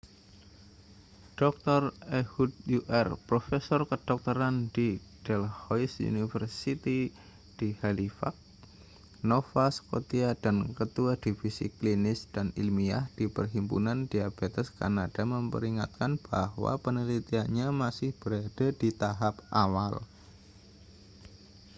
dr ehud ur profesor kedokteran di dalhousie university di halifax nova scotia dan ketua divisi klinis dan ilmiah di perhimpunan diabetes kanada memperingatkan bahwa penelitiannya masih berada di tahap awal